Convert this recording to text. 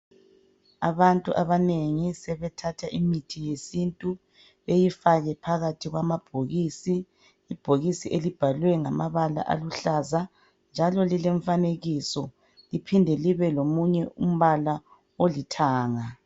Abantu abanengi sebethatha imithi yesintu beyifake phakathi kwamabhokisi, ibhokisi elibhalwe ngamabala aluhlaza njalo lilefanekiso liphinde libe lomunye umpala othanga.